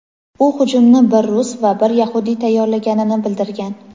u hujumni bir rus va bir yahudiy tayyorlaganini bildirgan.